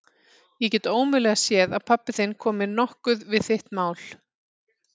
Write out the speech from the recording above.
Ég get ómögulega séð að pabbi þinn komi nokkuð við þitt mál.